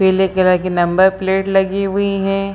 पीले कलर की number plate लगी हुई हैं।